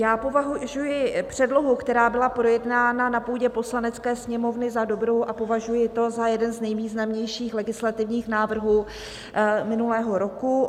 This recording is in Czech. Já považuji předlohu, která byla projednána na půdě Poslanecké sněmovny, za dobrou a považuji to za jeden z nejvýznamnějších legislativních návrhů minulého roku.